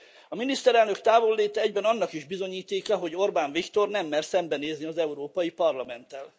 A miniszterelnök távolléte egyben annak is bizonyítéka, hogy Orbán Viktor nem mer szembenézni az Európai Parlamenttel.